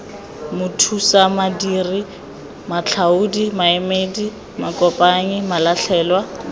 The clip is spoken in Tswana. mathusamadiri matlhaodi maemedi makopanyi malatlhelwa